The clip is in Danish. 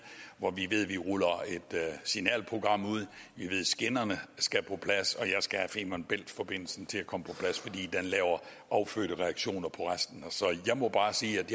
hvor vi ruller et signalprogram ud og vi ved at skinnerne skal på plads og jeg skal have femern bælt forbindelsen til at komme på plads fordi den laver affødte reaktioner på resten så jeg må bare sige at